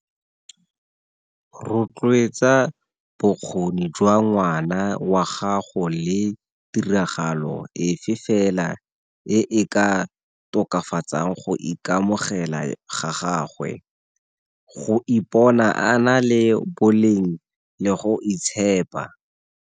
Rotloetsa bokgoni jwa ngwana wa gago le tiragalo efe fela e e ka tokafatsang go ikamogela ga gagwe, go ipona a na le boleng le go itshepa.